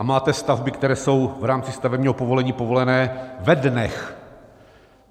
A máte stavby, které jsou v rámci stavebního povolení povolené ve dnech.